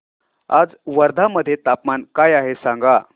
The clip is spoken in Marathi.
आज वर्धा मध्ये तापमान काय आहे सांगा